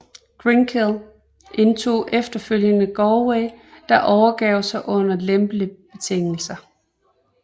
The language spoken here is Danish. Ginkell indtog efterfølgende Galway der overgav sig under lempelige betingelser